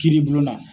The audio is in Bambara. Kiiri bulon na